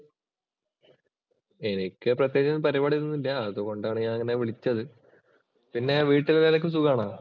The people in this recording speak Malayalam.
എനിക്ക് പ്രത്യേകിച്ച് പരിപാടി ഒന്നും ഇല്ല. അതുകൊണ്ടാണ് ഞാന്‍ നിന്നെ വിളിച്ചത്. പിന്നെ വീട്ടില്‍ എല്ലാവര്‍ക്കും സുഖാണോ?